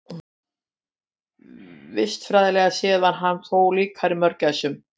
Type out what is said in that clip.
Vistfræðilega séð var hann þó líkari mörgæsum.